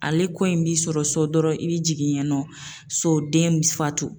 Ale ko in b'i sɔrɔ so dɔrɔnw, i bɛ jigin ye nɔ so den bɛ fatu!